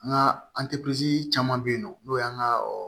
An ka caman bɛ yen nɔ n'o y'an ka